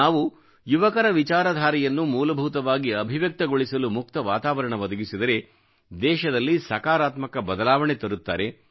ನಾವು ಯುವಕರ ವಿಚಾರಧಾರೆಯನ್ನು ಮೂಲಭೂತವಾಗಿ ಅಭಿವ್ಯಕ್ತಗೊಳಿಸಲು ಮುಕ್ತ ವಾತಾವರಣ ಒದಗಿಸಿದರೆ ದೇಶದಲ್ಲಿ ಸಕಾರಾತ್ಮಕ ಬದಲಾವಣೆ ತರುತ್ತಾರೆ